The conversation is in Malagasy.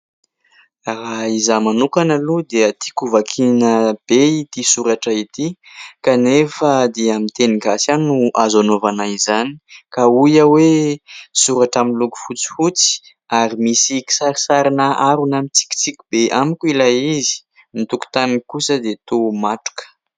Raha izaho manokana aloha dia tiako vakiana be ity soratra ity kanefa dia miteny gasy ihany no azo hanaovana izany ka hoy aho hoe soratra amin'ny loko fotsifotsy ary misy kisarisarina harona mitsikitsiky be amiko ilay izy, ny tokontaniny kosa dia toa matroka.